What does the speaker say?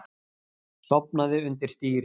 Sofnaði undir stýri